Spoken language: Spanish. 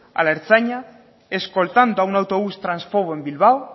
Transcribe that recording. a la ertzaintza escoltando a un autobús tránsfobo en bilbao